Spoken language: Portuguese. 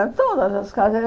É, todas as.